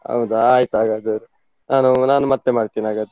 ಹೌದಾ ಆಯ್ತಾಗಾದ್ರೆ, ನಾನು ನಾನ್ ಮತ್ತೆ ಮಾಡ್ತೀನಿ ಹಾಗಾದ್ರೆ.